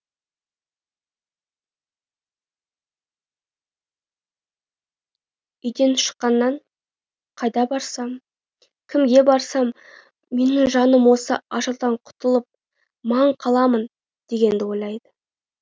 үйінен шыққаннан қайда барсам кімге барсам менің жаным осы ажалдан құтылып ман қаламын дегенді ойлайды